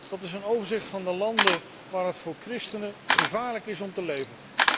Dat is een overzicht van de landen waar het voor christenen gevaarlijk is om te leven.